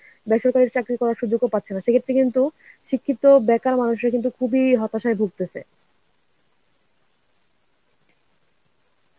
বেসরকারি চাকরি করার সুযোগও পাচ্ছে না সেক্ষেত্রে কিন্তু শিক্ষিত বেকার মানুষরা কিন্তু খুবই হতাশায় ভুগতেছে.